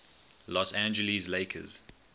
los angeles lakers